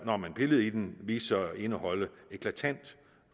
når man pillede i dem viste de sig at indeholde eklatant